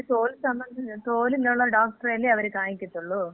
പക്ഷെ അവര് തോൽ സംബ... തോലിനുള്ള ഡോക്ടറെയല്ലേ അവര് കാണിക്കത്തുള്ളൂ.